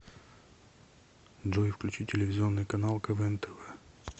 джой включи телевизионный канал квн тв